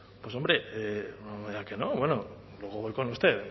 pues hombre no me diga que no bueno luego voy con usted